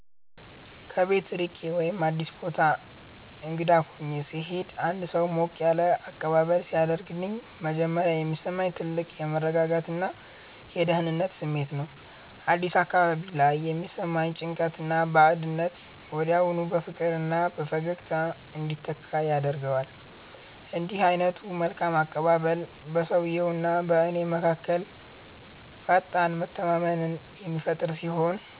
ከቤት ርቄ ወይም አዲስ ቦታ እንግዳ ሆኜ ስሄድ አንድ ሰው ሞቅ ያለ አቀባበል ሲያደርግልኝ መጀመሪያ የሚሰማኝ ትልቅ የመረጋጋትና የደህንነት ስሜት ነው። አዲስ አካባቢ ላይ የሚሰማኝን ጭንቀትና ባዕድነት ወዲያውኑ በፍቅርና በፈገግታ እንዲተካ ያደርገዋል። እንዲህ ዓይነቱ መልካም አቀባበል በሰውየውና በእኔ መካከል ፈጣን መተማመንን የሚፈጥር ሲሆን፣